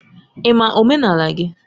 Ị ma omenala gị?